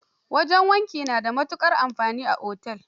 Wajen wanki na da matukar amfani a otel.